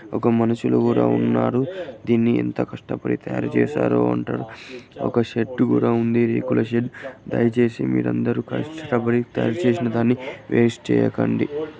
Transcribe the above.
ఒక మనుషులు కూడా ఉన్నారు దీన్ని ఎంత కష్టపడి తయారు చేశారు అంటే ఒక షెడ్డు కూడా ఉంది రేకుల షెడ్డు. దయచేసి మీరందరూ కష్టపడి తయారు చేసిన దాన్ని వేస్ట్ చేయకండి.